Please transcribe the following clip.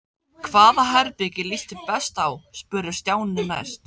Hvaða herbergi líst þér best á? spurði Stjáni næst.